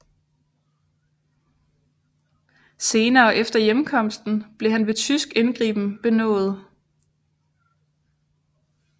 Senere efter hjemkomsten blev han ved tysk indgriben benådet